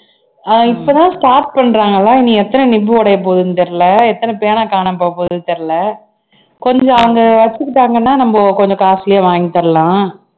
அஹ் இப்பதான் start பண்றாங்களா இனி எத்தன nip உடைய போகுதுன்னு தெரியல எத்தன பேனா காணாம போக போகுதுன்னு தெரியல கொஞ்சம் அவங்க வச்சுக்கிட்டாங்கன்னா நம்ம கொஞ்சம் costly ஆ வாங்கி தரலாம் இப்ப வந்து கலாய்றாங்க